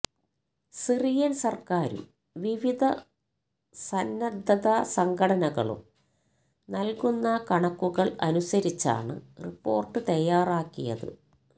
Syrian സര്ക്കാരും വിവിധ സന്നന്ധസംഘടനകളും നല്കുന്ന കണക്കുകള് അനുസരിച്ചാണ് റിപ്പോര്ട്ട് തയ്യാറാക്കിയത്